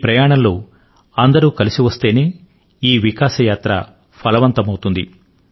ఈ ప్రయాణం లో అందరూ కలసివస్తేనే ఈ వికాస యాత్ర ఫలవంతం అవుతుంది